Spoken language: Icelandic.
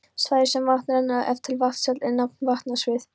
Svæði sem vatn rennur af til vatnsfalls er nefnt vatnasvið.